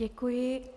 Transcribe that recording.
Děkuji.